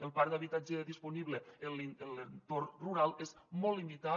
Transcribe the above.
el parc d’habitatge disponible en l’entorn rural és molt limitat